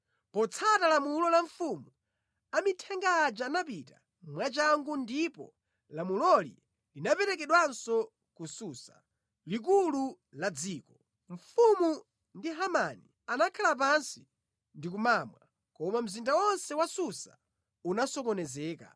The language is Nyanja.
Potsata lamulo la mfumu, amithenga aja anapita mwachangu ndipo lamuloli linaperekedwanso ku Susa, likulu la dziko. Mfumu ndi Hamani anakhala pansi ndikumamwa, koma mzinda onse wa Susa unasokonezeka.